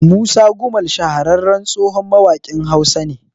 Musa Gumal shahararren tsohon mawaƙin Hausa ne